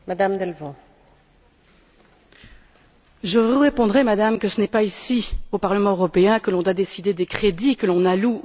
Je vous répondrai, Madame, que ce n'est pas ici, au Parlement européen, que l'on doit décider des crédits que l'on alloue au niveau national pour ces considérations là.